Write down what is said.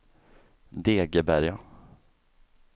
Degeberga